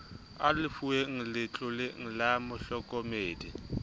a lefuweng letloleng la mohlokomedi